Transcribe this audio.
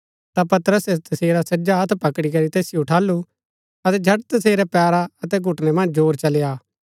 ता पतरसै तसेरा सज्जा हत्थ पकड़ी करी तैसिओ उठालु अतै झट तसेरै पैरा अतै घुटनै मन्ज जोर चली आ